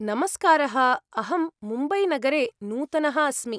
नमस्कारः, अहं मुम्बैनगरे नूतनः अस्मि।